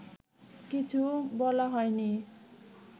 কিছু বলা হয়নি